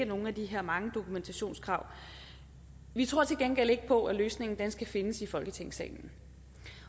nogle af de her mange dokumentationskrav vi tror til gengæld ikke på at løsningen skal findes i folketingssalen